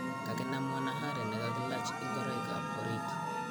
kakinam mwanahari nekakelach ingoroik ap orit